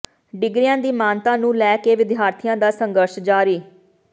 ਡਿਗਰੀਆਂ ਦੀ ਮਾਨਤਾ ਨੂੰ ਲੈ ਕੇ ਵਿਦਿਆਰਥੀਆਂ ਦਾ ਸੰਘਰਸ਼ ਜਾਰੀ